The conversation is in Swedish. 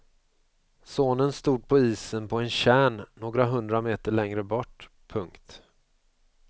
Sonen stod på isen på en tjärn några hundra meter längre bort. punkt